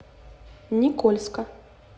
никольска